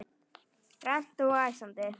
Grannt og æsandi.